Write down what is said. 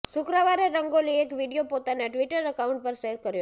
શુક્રવારે રંગોલી એક વીડિયો પોતાના ટ્વિટર એકાઉન્ટ પર શેર કર્યો છે